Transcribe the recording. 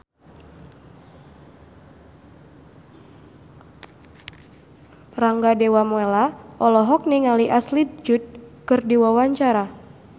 Rangga Dewamoela olohok ningali Ashley Judd keur diwawancara